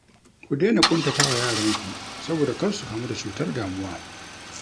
Ku daina ƙuntatawa yaranku saboda kar su kamu da cutar damuwa